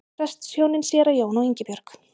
Prestshjónin séra Jón og Ingibjörg